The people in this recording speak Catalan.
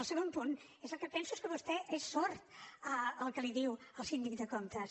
el segon punt és que penso que vostè és sord al que li diu el síndic de comptes